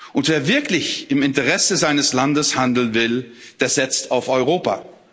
Und wer wirklich im Interesse seines Landes handeln will, der setzt auf Europa.